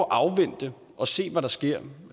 at afvente og se hvad der sker